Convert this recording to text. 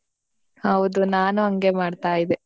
ಹೌದು ನಾನು ಹಂಗೇ ಮಾಡ್ತಾ ಇದ್ದೆ.